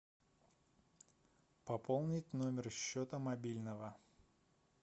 пополнить номер счета мобильного